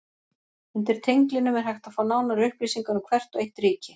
Undir tenglinum er hægt að fá nánari upplýsingar um hvert og eitt ríki.